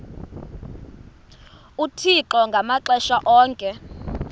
uthixo ngamaxesha onke